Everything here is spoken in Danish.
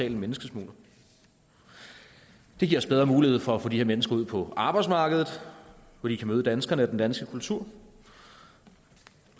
en menneskesmugler det giver os bedre mulighed for at få de her mennesker ud på arbejdsmarkedet hvor de kan møde danskerne og den danske kultur